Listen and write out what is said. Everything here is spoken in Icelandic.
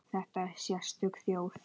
Þetta er sérstök þjóð.